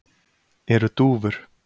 eru dúfur